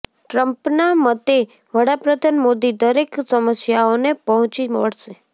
ટ્રમ્પના મતે વડાપ્રધાન મોદી દરેક સમસ્યાઓને પહોંચી વળશે